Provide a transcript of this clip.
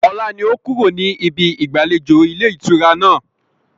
Ọlá ni ó kúrò ní ibí ìgbàlejò ilé ìtura náà.